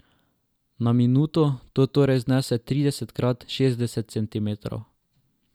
Na minuto to torej znese trideset krat šestdeset centimetrov.